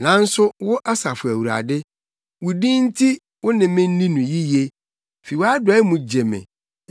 Nanso wo Asafo Awurade, wo din nti wo ne me nni no yiye; fi wʼadɔe mu gye me.